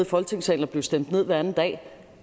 folketingssalen og blive stemt ned hver anden dag